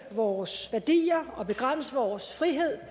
vores værdier og begrænse vores frihed